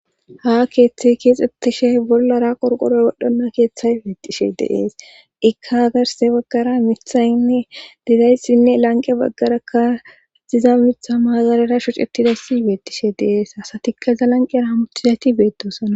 ha keeththey keexxettishe bollara qorqoroy wodhonna keeththay beettishe deees ikka hagarse baggara mithaynne didayssinne lanqe baggarakkaxiza mitha maazalera shocetidayssi beettishe deees hasatikka zalanqerahmutizayti beedoosana